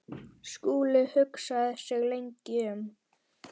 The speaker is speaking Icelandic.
Skúli hugsaði sig lengi um.